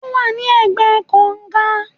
Ówà ní ègbé kàńgà